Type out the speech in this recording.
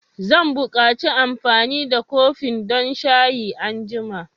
Zan buƙaci amfani da kofin don shayi anjima.